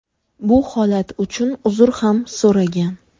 Bu holat uchun uzr ham so‘ragan.